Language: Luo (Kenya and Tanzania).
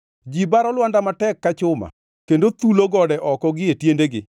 Ji baro lwanda matek ka chuma kendo thulo gode oko gie tiendegi.